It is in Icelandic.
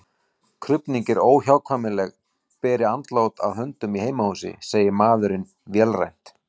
Krufning er óhjákvæmileg beri andlát að höndum í heimahúsi, segir maðurinn vélrænt.